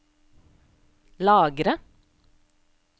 lagre